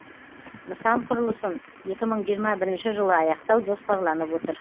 нысан құрылысын екі мың жиырма бірінші жылы аяқтау жоспарланып отыр